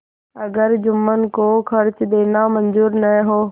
अगर जुम्मन को खर्च देना मंजूर न हो